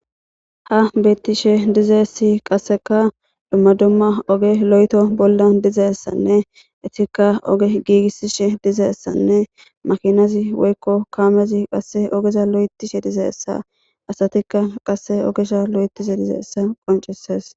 ha beettishe dizeessi qasseka dumma dumma oge lo7eto bolla dizeessanne isika oge giigisishe dizeessanne makinazi woykko kaamezi qasse ogeza lo7etishe dizeessa asatikka qasse ogesha lo7etishe dizeessa qoncesees